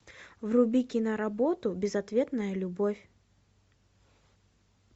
вруби киноработу безответная любовь